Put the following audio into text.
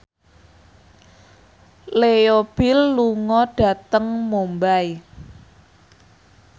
Leo Bill lunga dhateng Mumbai